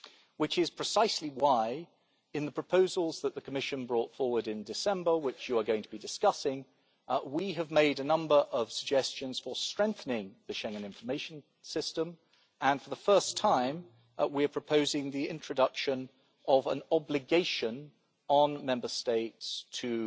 which is precisely why, in the proposals that the Commission brought forward in December, which you are going to be discussing, we have made a number of suggestions for strengthening the Schengen Information System and, for the first time, we are proposing the introduction of an obligation on Member States to